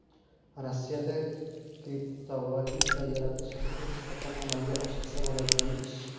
Rossiyada kriptovalyuta yaratish texnik jihatdan amalga oshirsa bo‘ladigan ish.